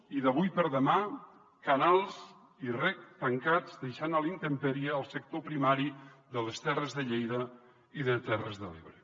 i d’avui per demà canals i reg tancats deixant a la intempèrie el sector primari de les terres de lleida i de terres de l’ebre